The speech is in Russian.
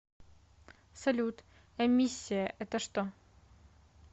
салют эмиссия это что